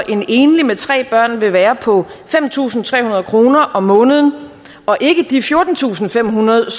en enlig med tre børn vil være på fem tusind tre hundrede kroner om måneden og ikke de fjortentusinde og femhundrede